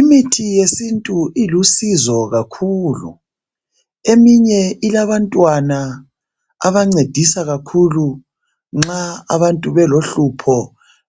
Imithi yesintu ilusizo kakhulu. Eminye ilabantwana abancedisa kakhulu nxa abantu belohlupho